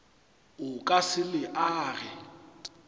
o ka se le age